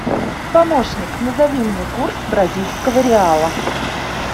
помощник назови мне курс бразильского реала